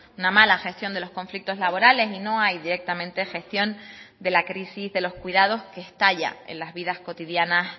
una mala gestión de los conflictos laborales y no hay directamente gestión de la crisis de los cuidados que estalla en las vidas cotidianas